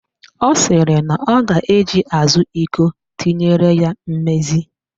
Ọ sịrị na ọ ga-eji azụ iko tinyere ya mmezi